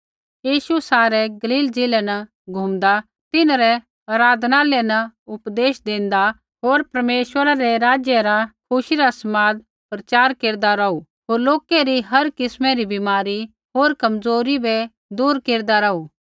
यीशु सारै गलील ज़िलै न घूँमदा तिन्हरै आराधनालय न उपदेश देंदा होर परमेश्वरै रै राज्य रा खुशी रा समाद प्रचार केरदा रौहू होर लोकै री हर किस्मा री बीमारी होर कमज़ोरी बै दूर केरदा रौहू